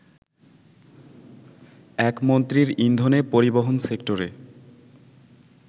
একমন্ত্রীর ইন্ধনে পরিবহন সেক্টরে